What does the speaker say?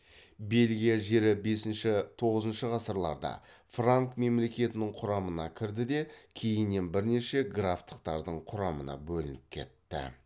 бельгия жері бесінші тоғызыншы ғасырларда франк мемлекетінің құрамына кірді де кейіннен бірнеше графтықтардың құрамына бөлініп кетті